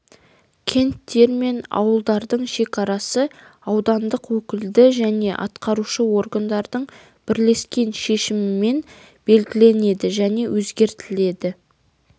кенттер мен ауылдардың шекарасы аудандық өкілді және атқарушы органдардың бірлескен шешімімен белгіленеід және өзгертледі